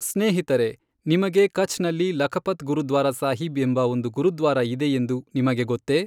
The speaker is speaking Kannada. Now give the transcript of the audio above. ಸ್ನೇಹಿತರೆ, ನಿಮಗೆ ಕಛ್ ನಲ್ಲಿ ಲಖಪತ್ ಗುರುದ್ವಾರ ಸಾಹೀಬ್ ಎಂಬ ಒಂದು ಗುರುದ್ವಾರ ಇದೆಯೆಂದು ನಿಮಗೆ ಗೊತ್ತೆ?